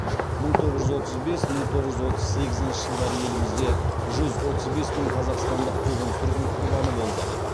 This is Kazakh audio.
мың тоғыз жүз отыз бес мың тоғыз жүз отыз сегізінші жылдары елімізде жүз отыз бес мың қазақстандық қуғын сүргін құрбаны болды